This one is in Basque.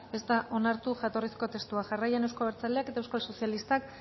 ez da onartu jatorrizko testua jarraian euzko abertzaleak eta euskal sozialistak